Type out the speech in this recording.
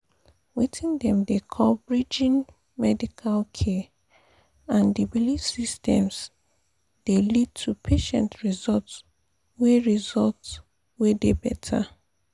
weting dem dey call pause— bridging pause medical care and the belief systems dey lead to patient results wey results wey dey better.